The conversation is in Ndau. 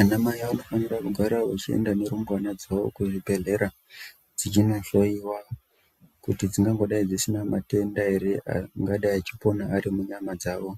Anamai vanofanira kugara vachienda nerumbwana dzawo kuzvibhedhlera dzichinohloyiwa kuti dzingangodai dzisina matenda here angadai achipona ari munyama dzavo,